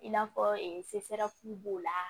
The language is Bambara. I n'a fɔ b'o la